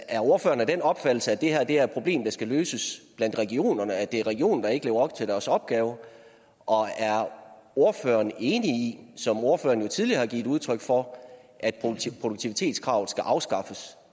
er ordføreren af den opfattelse at det her er et problem der skal løses blandt regionerne altså at det er regionerne der ikke lever op til deres opgaver og er ordføreren enig i som ordføreren jo tidligere har givet udtryk for at produktivitetskravet skal afskaffes